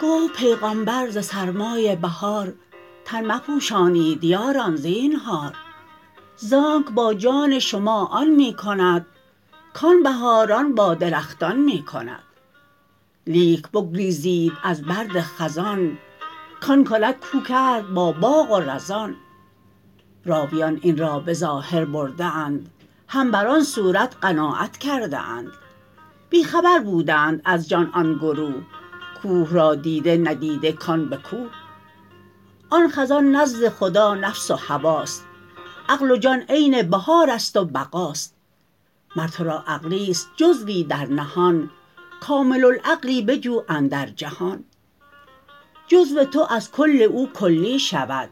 گفت پیغامبر ز سرمای بهار تن مپوشانید یاران زینهار زانک با جان شما آن می کند کان بهاران با درختان می کند لیک بگریزید از سرد خزان کان کند کو کرد با باغ و رزان راویان این را به ظاهر برده اند هم بر آن صورت قناعت کرده اند بی خبر بودند از جان آن گروه کوه را دیده ندیده کان به کوه آن خزان نزد خدا نفس و هواست عقل و جان عین بهار است و بقاست مر ترا عقلیست جزوی در نهان کامل العقلی بجو اندر جهان جزو تو از کل او کلی شود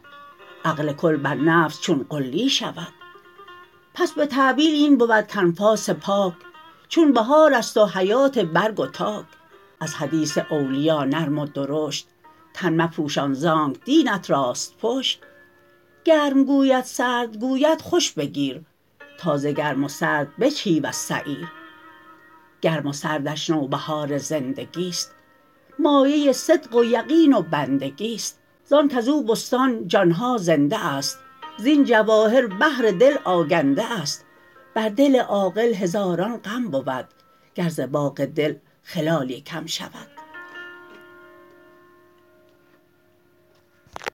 عقل کل بر نفس چون غلی شود پس به تأویل این بود کانفاس پاک چون بهار است و حیات برگ و تاک از حدیث اولیا نرم و درشت تن مپوشان زانک دینت راست پشت گرم گوید سرد گوید خوش بگیر تا ز گرم و سرد بجهی وز سعیر گرم و سردش نوبهار زندگیست مایه صدق و یقین و بندگیست زان کزو بستان جان ها زنده است زین جواهر بحر دل آگنده است بر دل عاقل هزاران غم بود گر ز باغ دل خلالی کم شود